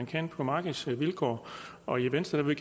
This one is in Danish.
kan på markedsvilkår og i venstre vil